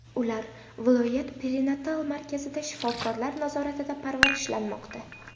Ular viloyat perinatal markazida shifokorlar nazoratida parvarishlanmoqda.